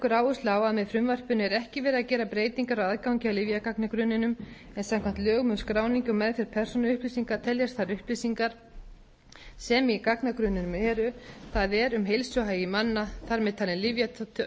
með frumvarpinu er ekki verið að gera breytingar á aðgangi að lyfjagagnagrunninum en samkvæmt lögum um skráningu og meðferð persónuupplýsinga teljast þær upplýsingar sem í gagnagrunninum eru það er um heilsuhagi manna þar með talin